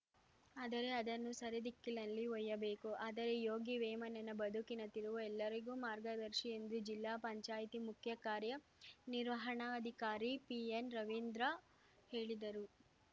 ಆದರೆ ಅದನ್ನು ಸರಿದಿಕ್ಕಿನಲ್ಲಿ ಒಯ್ಯಬೇಕು ಆದರೆ ಯೋಗಿ ವೇಮನನ ಬದುಕಿನ ತಿರುವು ಎಲ್ಲರಿಗೂ ಮಾರ್ಗದರ್ಶಿ ಎಂದು ಜಿಲ್ಲಾ ಪಂಚಾಯಿತಿ ಮುಖ್ಯ ಕಾರ್ಯ ನಿರ್ವಹಣಾಧಿಕಾರಿ ಪಿಎನ್‌ರವೀಂದ್ರ ಹೇಳಿದರು